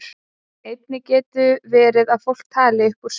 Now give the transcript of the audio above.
Einnig getur verið að fólk tali upp úr svefni.